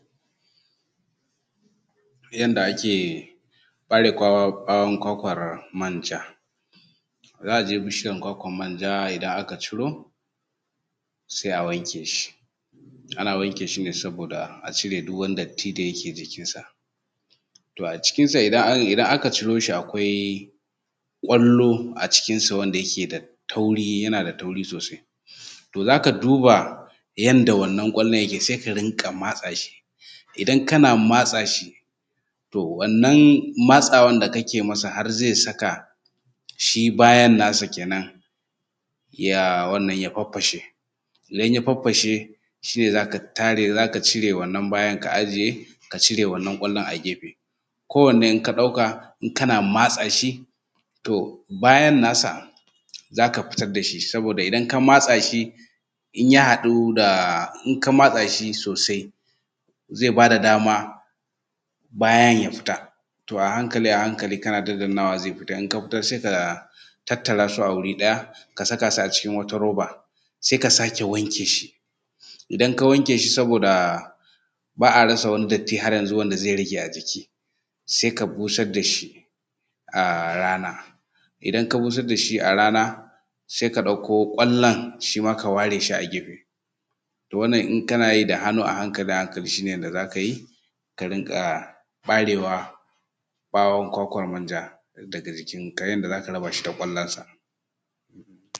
Yanda muke yin girbi. To a nan muna shuka gero, dawa, maiwa, masara da kuma wake to duka akwai yanda ake yin girbin su, amma daga girbin gero da dawa da na maiwa da na masara duka iri ɗaya ne. Amma wake shi nasa ya bambanta, wake yadda ake yin nasa shi tsinkan sa ake yi ɗaya bayan ɗaya ake bi ake tsinkan ‘ya’yan ake raba shi daga jikin ganyensa, shi kuma girbi na gero yayin da gero ya kai girbi karansa ze fara zama ja yana bushewa za a ɗauki magirbi a dinga sare shi daga ƙasa tun daga ƙasan shi za a dinga sare shi ana ɗan tattara shi jinka-jinka, hakan nan kaɗan-kaɗan, dawa ana iya amfani da magirbi ko kuma adda shi ma a sare shi daga ƙasa, sannan maiwa ita ma ana iya amfani da magirbi ko adda a sare shi daga ƙasa a dinga tara shi jinka-jinka hakan kaɗan-kaɗan kafun daga baya a zo ana bi da wuƙa ana yankewa kai ɗinsa ana yankewa kan sannan akwai wanna eee dankali waɗanda daidaiku kaɗan mutane, mutane kaɗan daga cikin mu sukan yi noman dankali. To, shi dankali idan aka zo za a girbe shi yanda ake yi shi ne in ya kai girbi shi ne za ka ga ƙasan tana faffashewa yana fasa ƙasa to za ka zo da magirbi ka dinga tono shi kana tonan dankalin daga cikin ƙasa kana fidda shi, to wannan shi ne yadda ake girbi a taƙaice a wurin mu.